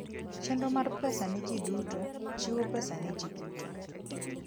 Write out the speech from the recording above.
Chenro mar Pesa ne Ji Duto: Chiwo pesa ne ji duto.